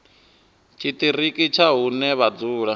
tshiṱiriki tsha hune vha dzula